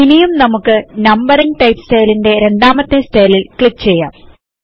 ഇനിയും നമുക്ക് numbering type സ്റ്റയിൽന്റെ രണ്ടാമത്തെ സ്റ്റയ്ലിൽ ക്ലിക്ക് ചെയ്യാം